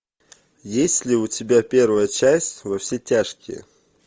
есть ли у тебя первая часть во все тяжкие